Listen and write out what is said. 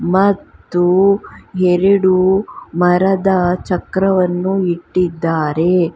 ಮತ್ತು ಎರಡು ಮರದ ಚಕ್ರವನ್ನು ಇಟ್ಟಿದ್ದಾರೆ.